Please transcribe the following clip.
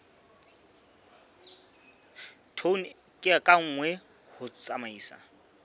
tone ka nngwe ho tsamaisa